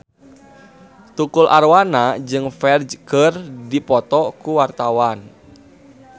Tukul Arwana jeung Ferdge keur dipoto ku wartawan